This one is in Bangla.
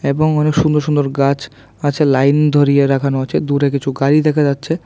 এবং অনেক সুন্দর সুন্দর গাছ আছে লাইন ধরিয়ে রাখানো আছে দূরে কিছু গাড়ি দেখা যাচ্ছে।